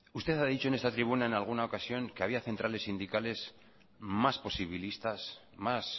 usted ha dicho en esta tribuna en alguna ocasión que había centrales sindicales más posibilistas más